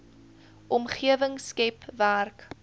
omgewing skep werk